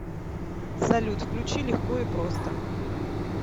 салют включи легко и просто